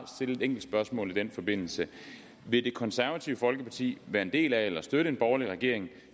stille et enkelt spørgsmål i den forbindelse vil det konservative folkeparti være en del af eller støtte en borgerlig regering